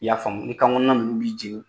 I y'a faamu i kan kɔnɔna ninnu b'i jenin